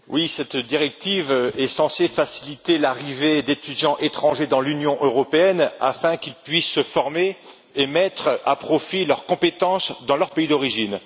Monsieur le Président, en effet, cette directive est censée faciliter l'arrivée d'étudiants étrangers dans l'Union européenne, afin qu'ils puissent se former et mettre à profit leurs compétences dans leur pays d'origine.